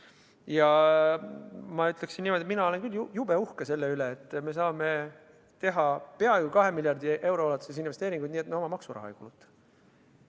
Ja ma ütlen niimoodi, et mina olen küll jube uhke selle üle, et me saame teha peaaegu 2 miljardi euro ulatuses investeeringuid nii, et me oma maksuraha ei kuluta.